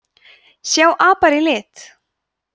sjá apar í lit